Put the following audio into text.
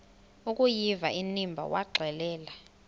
akuyiva inimba waxelela